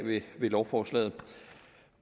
lovforslaget